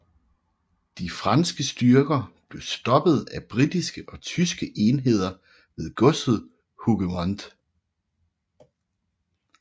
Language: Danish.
De franske styrker blev stoppet af britiske og tyske enheder ved godset Hougemont